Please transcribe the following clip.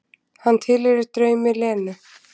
Hann tilheyrir draumi Lenu.